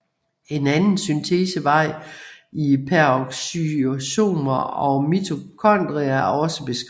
En anden syntesevej i peroxysomer og mitokondrier er også beskrevet